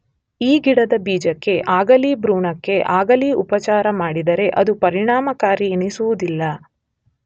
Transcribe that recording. ಈ ಗಿಡದ ಬೀಜಕ್ಕೇ ಆಗಲಿ ಭ್ರೂಣಕ್ಕೇ ಆಗಲಿ ಉಪಚಾರ ಮಾಡಿದರೆ ಅದು ಪರಿಣಾಮಕಾರಿಯೆನಿಸುವುದಿಲ್ಲ.